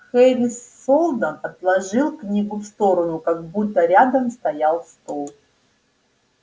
хари сэлдон отложил книгу в сторону как будто рядом стоял стол